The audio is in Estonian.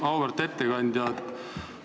Auväärt ettekandja!